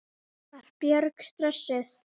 Var Björk stressuð?